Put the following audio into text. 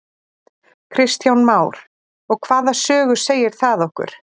Kristján Már: Og hvaða sögu segir það okkur?